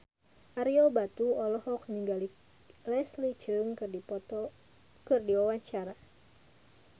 Ario Batu olohok ningali Leslie Cheung keur diwawancara